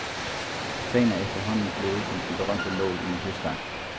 Sagen er efterhånden blevet som den berømte nål i en høstak.